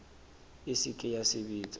e se ke ya sebetsa